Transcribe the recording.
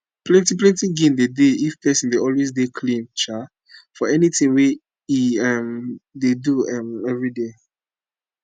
plenti plenti gain dey dey if pesin dey always dey clean um for anything wey e um dey do um everyday